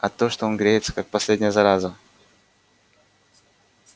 а то что он греется как последняя зараза